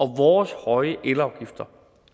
vores høje elafgifter